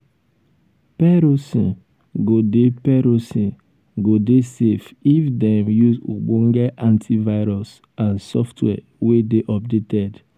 perosn go dey perosn go dey safe if dem use ogbonge antivirus and software wey dey updated